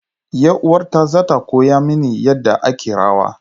Yar uwata za ta koya mini yadda ake rawa.